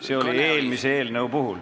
See oli eelmise eelnõu puhul.